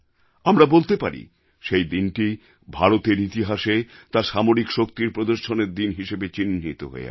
আমরা বলতে পারি সেই দিনটি ভারতের ইতিহাসে তার সামরিক শক্তির প্রদর্শনের দিন হিসেবে চিহ্নিত হয়ে আছে